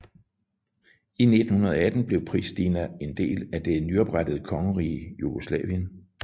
I 1918 blev Prishtina en del af det nyoprettede kongerige Jugoslavien